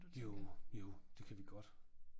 Jo jo det kan vi godt